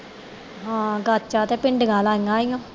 ਹਾਂ ਗਾਤਾ ਤੇ ਭਿੰਡੀਆਂ ਲਾਇਆਂ ਹੋਇਆਂ